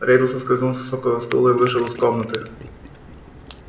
реддл соскользнул с высокого стула и вышел из комнаты